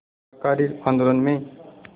शाकाहारी आंदोलन में